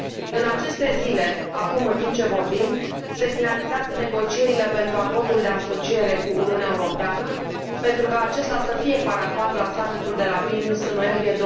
În aceste zile, acum, în timp ce vorbim, se finalizează negocierile pentru Acordul de asociere cu Uniunea Europeană, pentru ca acesta să fie parafat la summitul de la Vilnius, în noiembrie